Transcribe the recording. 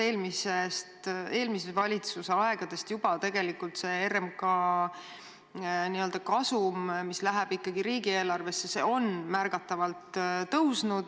Juba eelmise valitsuse aegadest on see RMK kasum, mis läheb riigieelarvesse, ikkagi märgatavalt tõusnud.